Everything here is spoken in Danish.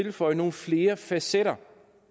at føje nogle flere facetter